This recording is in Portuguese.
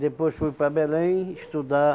Depois fui para Belém estudar